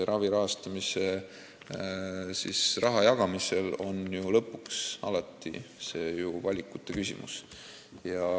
Ravi rahastamiseks raha jagamine on ju lõpuks alati valikute küsimus.